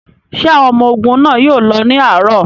Ṣé àwọn ọmọ ogun náà yóò lọ ní àárọ̀?